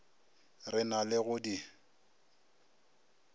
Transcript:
re na le go di